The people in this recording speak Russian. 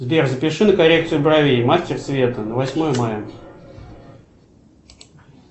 сбер запиши на коррекцию бровей мастер света на восьмое мая